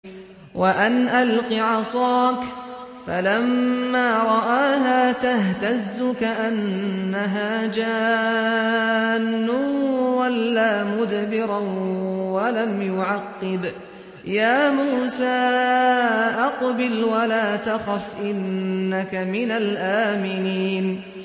وَأَنْ أَلْقِ عَصَاكَ ۖ فَلَمَّا رَآهَا تَهْتَزُّ كَأَنَّهَا جَانٌّ وَلَّىٰ مُدْبِرًا وَلَمْ يُعَقِّبْ ۚ يَا مُوسَىٰ أَقْبِلْ وَلَا تَخَفْ ۖ إِنَّكَ مِنَ الْآمِنِينَ